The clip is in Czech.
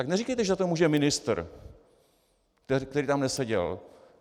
Tak neříkejte, že za to může ministr, který tam neseděl.